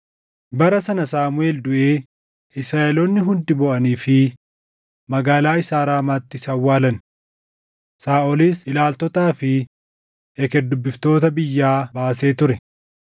Bara sana Saamuʼeel duʼee Israaʼeloonni hundi booʼaniifii magaalaa isaa Raamaatti isa awwaalan. Saaʼolis ilaaltotaa fi eker dubbiftoota biyyaa baasee ture.